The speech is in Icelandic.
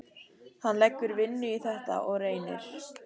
Hann leggur vinnu í þetta og reynir.